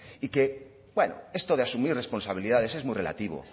y que bueno esto de asumir responsabilidades es muy relativo